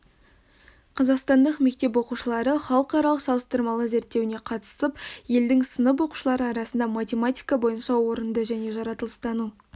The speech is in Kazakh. қазақстандық мектеп оқушылары халықаралық салыстырмалы зерттеуіне қатысып елдің сынып оқушылары арасында математика бойынша орынды және жаратылыстану